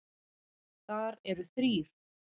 Þar eru þrír